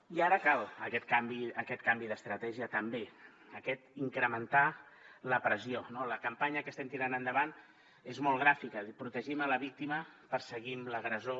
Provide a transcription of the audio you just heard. i ara cal aquest canvi aquest canvi d’estratègia també aquest incrementar la pressió no la campanya que estem tirant endavant és molt gràfica protegim la víctima perseguim l’agressor